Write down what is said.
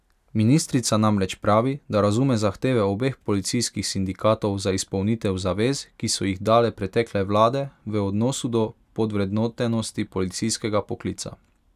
Ministrica namreč pravi, da razume zahteve obeh policijskih sindikatov za izpolnitev zavez, ki so jih dale pretekle vlade v odnosu do podvrednotenosti policijskega poklica.